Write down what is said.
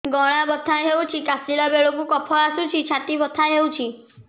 ଗଳା ବଥା ହେଊଛି କାଶିଲା ବେଳକୁ କଫ ଆସୁଛି ଛାତି ବଥା ହେଉଛି